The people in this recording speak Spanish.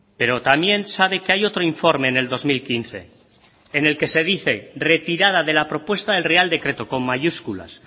pero también sabe que hay otro informe en el dos mil quince en el que se dice retirada de la propuesta del real decreto con mayúsculas